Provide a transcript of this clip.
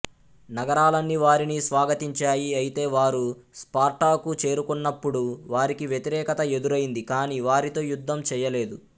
నగరాలన్నీ వారిని స్వాగతించాయి అయితే వారు స్పార్టాకు చేరుకున్నప్పుడు వారికి వ్యతిరేకత ఎదురైంది కాని వారితో యుద్ధం చెయ్యలేదు